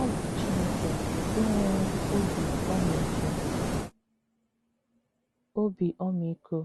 Ọ bụ Chineke nke nwere “ obi ọmịiko, obi ọmịiko, ”